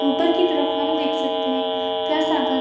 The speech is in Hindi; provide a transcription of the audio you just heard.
ऊपर की तरफ हम देख सकते हैं प्लस आकार --